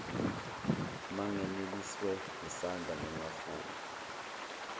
manganeliswe yisandla ngingafuni